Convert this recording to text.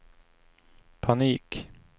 panik